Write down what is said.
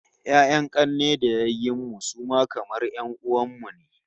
Ya'yan 'kanne da yayyen iyayen mu su ma kamar 'yan'uwan mu ne